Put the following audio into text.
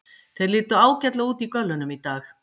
Þeir litu ágætlega út í göllunum í dag.